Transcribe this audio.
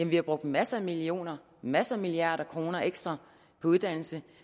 vi har brugt masser af millioner og masser af milliarder kroner ekstra på uddannelse